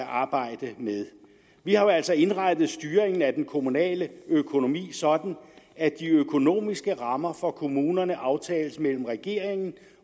arbejde med vi har jo altså indrettet styringen af den kommunale økonomi sådan at de økonomiske rammer for kommunerne aftales mellem regeringen